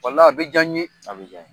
Walayi a bi jan n ye. A bi jan n ye.